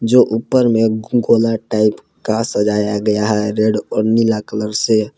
जो ऊपर में गोला टाइप का सजाया गया है रेड और नीला कलर से।